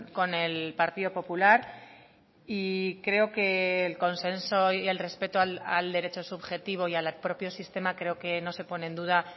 con el partido popular y creo que el consenso y el respeto al derecho subjetivo y al propio sistema creo que no se pone en duda